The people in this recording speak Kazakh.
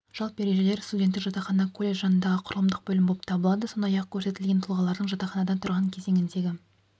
жалпы ережелер студенттік жатақхана колледж жанындағы құрылымдық бөлім болып табылады сондай-ақ көрсетілген тұлғалардың жатақханада тұрған кезеңіндегі